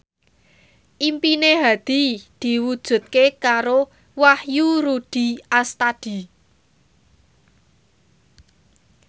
impine Hadi diwujudke karo Wahyu Rudi Astadi